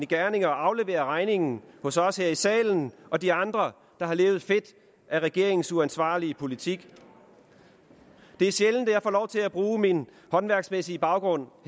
gerninger og aflevere regningen hos os her i salen og de andre der har levet fedt af regeringens uansvarlige politik det er sjældent at jeg får lov til at bruge min håndværksmæssige baggrund